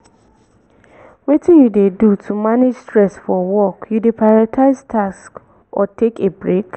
wetin you dey do to manage stress for work you dey prioritize tasks or take a break?